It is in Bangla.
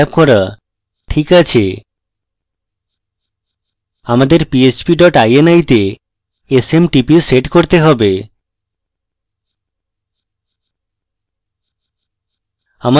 ঠিক আছে আমাদের php dot ini তে smtp set করতে হবে